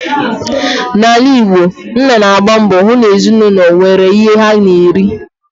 N'ala Igbo, nna na-agba mbọ hụ na ezinụlọ nwere ihe ha ga-eri